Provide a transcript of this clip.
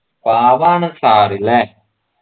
പാവാണ് sir ല്ലേ